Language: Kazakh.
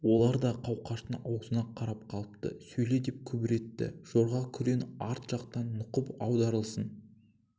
олар да қауқаштың аузына қарап қалыпты сөйле деп күбір етті жорға күрең арт жақтан нұқып аударылсын